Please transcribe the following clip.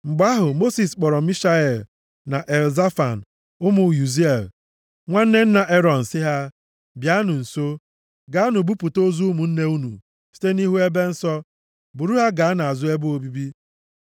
Mgbe ahụ, Mosis kpọrọ Mishael na Elzafan, ụmụ Uziel, nwanne nna Erọn sị ha, “Bịanụ nso. Gaanụ buputa ozu ụmụnne unu site nʼihu ebe nsọ, buru ha gaa nʼazụ ebe obibi.”